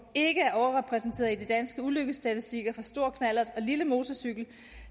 ikke er overrepræsenterede i de danske ulykkesstatistikker for stor knallert og lille motorcykel